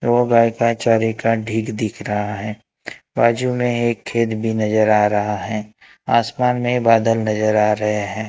ओ गाय के चारे का ढीक दिख रहा है बाजू में एक खेत भी नजर आ रहा है आसमान में बादल नजर आ रहे हैं।